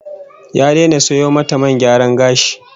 Ya daina sayo mata man gyaran gashi